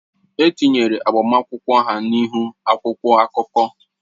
E tinyere agbamakwụkwọ ha n'ihu akwụkwọ akụkọ.